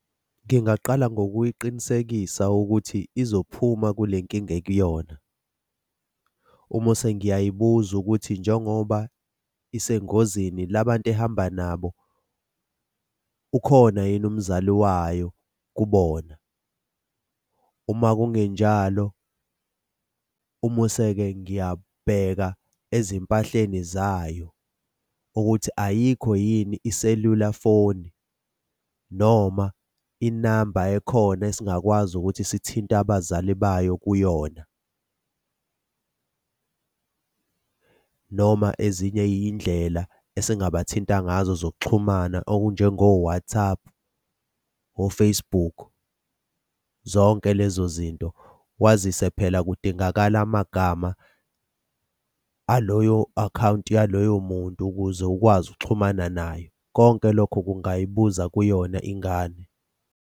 Ngingaqala ngokuyiqinisekisa ukuthi izophuma kule nkinga ekuyona. Umose ngiyayibuza ukuthi njengoba isengozini la bantu ehamba nabo, ukhona yini umzali wayo kubona. Uma kungenjalo, umuse-ke ngiyabheka ezimpahleni zayo ukuthi ayikho yini iselula foni noma inamba ekhona esingakwazi ukuthi sithinte abazali bayo kuyona noma ezinye iy'ndlela esingabathinta ngazo zokuxhumana okunjengo-WhatApp, o-Facebook, zonke lezo zinto, kwazise phela kudingakala amagama aloyo akhawunti yaloyo muntu ukuze ukwazi ukuxhumana naye. Konke lokho kungayibuza kuyona ingane.